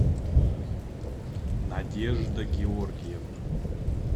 надежда георгиевна